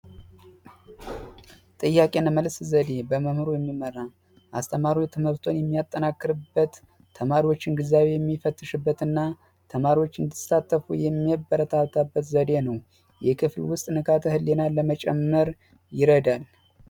ጥያቄና መልስ ዘዴ በመምህሩ የሚመራ አስተማሪው ትምህርቱን የሚያጠናክርበት፣ ተማሪዎችን ግንዛቤ የሚፈትሽበትና ተማሪዎች እንዲሳተፉ የሚያበረታታበት ዘዴ ነው። በክፍል ውስጥ ንቃተ ህሊናን ለመጨመር ይረዳል